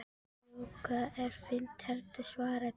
Jú, það er fínt hérna svaraði